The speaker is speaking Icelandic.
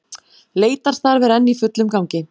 Leitarstarf er enn í fullum gangi